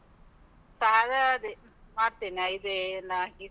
Sir ಅದೇ, ಮಾಡ್ತೆನೆ ಆ ಇದೇ ಎಲ್ಲ ಹಾಕಿ.